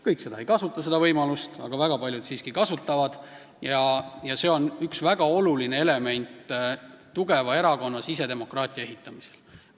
Kõik ei kasuta seda võimalust, aga väga paljud siiski kasutavad ja see on üks väga oluline element tugeva erakonna sisedemokraatia ehitamisel.